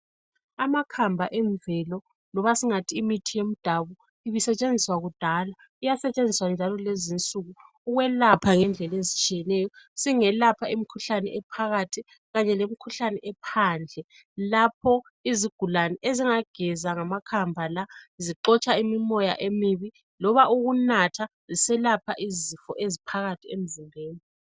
Amakhamba emvelo loba singathi imithi yemdabu ibisetshenziswa kudala iyasetshenziswa njalo lezinsuku .Ukwelapha ngendlela ezitshiyeneyo .Singelapha imkhuhlane ephakathi kanye lemkhuhlane ephandle .Lapho izigulane ezingageza ngamakhamba la zixotsha imoya emibi loba ukunatha ziselapha izifo eziphakathi emzimbeni.